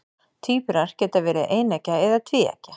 Tvíburar geta verið eineggja eða tvíeggja.